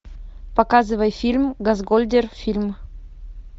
показывай фильм газгольдер фильм